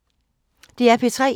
DR P3